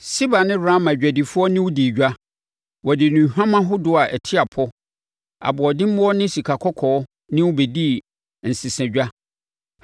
“ ‘Seba ne Raama adwadifoɔ ne wo dii edwa; wɔde nnuhwam ahodoɔ a ɛte apɔ, aboɔdemmoɔ ne sikakɔkɔɔ ne wo bɛdii nsesadwa.